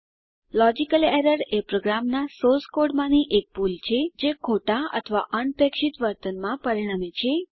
logical error એ પ્રોગ્રામનાં source code માંની એક ભૂલ છે જે ખોટાં અથવા અનપેક્ષિત વર્તનમાં પરિણમે છે